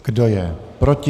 Kdo je proti?